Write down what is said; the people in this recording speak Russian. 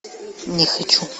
не хочу